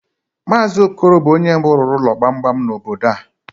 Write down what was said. Mazi Okoro bụ ónyé mbụ rụrụ ụlọ gbamgbam n'obodo a.